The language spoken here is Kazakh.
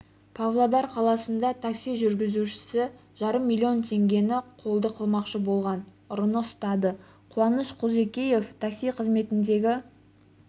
павлодар қаласында такси жүргізуші жарым миллион теңгені қолды қылмақшы болған ұрыны ұстады қуаныш құлжикенов такси қызметіндегі